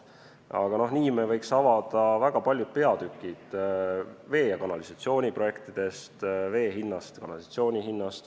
Aga nii me võiks avada väga paljud peatükid vee- ja kanalisatsiooniprojektidest, vee ja kanalisatsiooni hinnast.